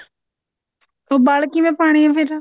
ਵਲ ਕਿਵੇਂ ਪਾਉਣੇ ਆ ਫ਼ੇਰ